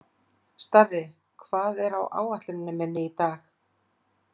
Starri, hvað er á áætluninni minni í dag?